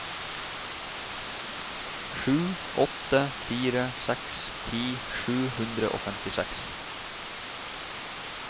sju åtte fire seks ti sju hundre og femtiseks